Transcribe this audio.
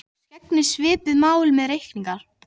Loks gegnir svipuðu máli með reykingar.